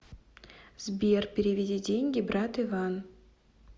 сбер переведи деньги брат иван